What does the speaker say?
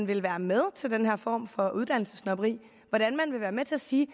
vil være med til den her form for uddannelsessnobberi hvordan man vil være med til at sige